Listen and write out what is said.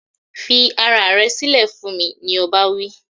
"Fi aya rẹ sílẹ̀ fún mi", ni ọba wí.